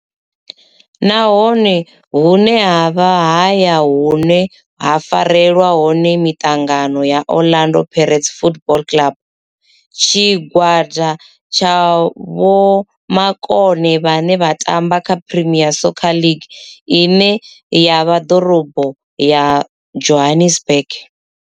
Ndi hone hune havha haya hune ha farelwa hone mitangano ya Orlando Pirates Football Club. Tshigwada tsha vhomakone vhane vha tamba kha Premier Soccer League ine ya vha Dorobo ya Johannesburg.